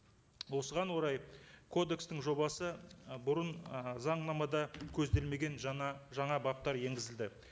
осыған орай кодекстің жобасы ы бұрын ы заңнамада көзделмеген жаңа жаңа баптар енгізілді